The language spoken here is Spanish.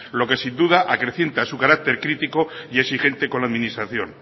lo que sin duda acrecienta carácter crítico y exigente con la administración